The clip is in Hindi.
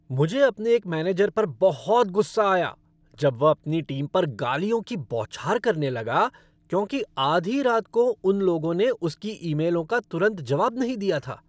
मुझे अपने एक मैनेजर पर बहुत गुस्सा आया जब वह अपनी टीम पर गालियों की बौछार करने लगा क्योंकि आधी रात को उन लोगों ने उसकी ईमेलों का तुरंत जवाब नहीं दिया था।